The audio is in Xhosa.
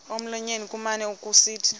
emlonyeni kumane kusithi